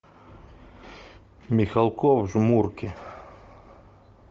михалков жмурки